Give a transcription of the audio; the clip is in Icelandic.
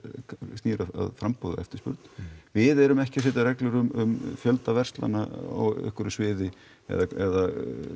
snýr að framboði og eftirspurn við erum ekki að setja reglur um fjölda verslanna á einhverju sviði eða